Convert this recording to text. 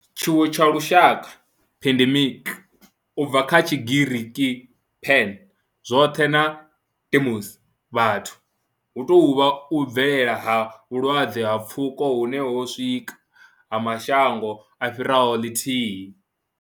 Tshiwo tsha lushaka, pandemic, u bva kha Tshigiriki pan, zwothe na demos, vhathu, hu tou vha u bvelela ha vhulwadze ha pfuko hune ho swika kha mashango a fhiraho ḽithihi.